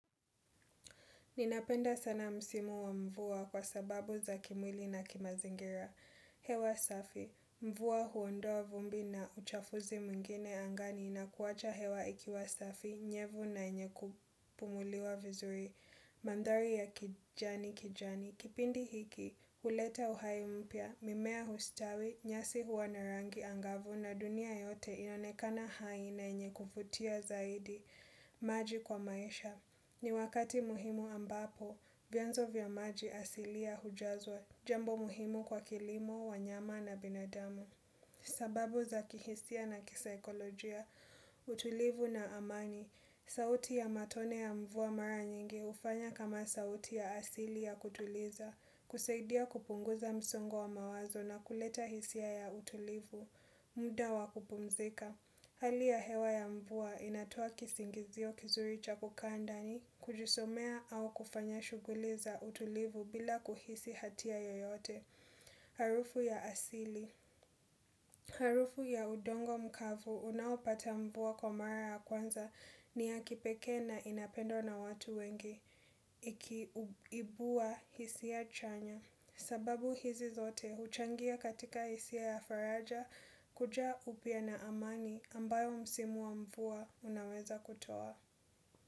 Ninapenda sana msimu wa mvua kwa sababu za kimwili na kimazingira. Hewa safi, mvua huondoa vumbi na uchafuzi mwingine angani na kuwacha hewa ikiwa safi, nyevu na yenye kupumuliwa vizuri, mandhari ya kijani kijani. Kipindi hiki, huleta uhai mpya, mimea hustawi, nyasi hua na rangi angavu na dunia yote inaonekana hai na yenye kuvutia zaidi, maji kwa maisha. Ni wakati muhimu ambapo, vyanzo vya maji asilia hujazwa, jambo muhimu kwa kilimo, wanyama na binadamu. Sababu za kihisia na kisaikolojia, utulivu na amani, sauti ya matone ya mvua mara nyingi hufanya kama sauti ya asili ya kutuliza, kusaidia kupunguza msongo wa mawazo na kuleta hisia ya utulivu, muda wa kupumzika. Hali ya hewa ya mvua inatoa kisingizio kizuri cha kukaa ndani, kujisomea au kufanya shughuli za utulivu bila kuhisi hatia yoyote. Harufu ya asili. Harufu ya udongo mkavu unaopata mvua kwa mara ya kwanza ni ya kipekee na inapendwa na watu wengi. Huibua hisia chanya. Sababu hizi zote huchangia katika hisia ya faraja kuja upya na amani ambayo msimu wa mvua unaweza kutoa.